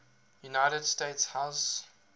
united states house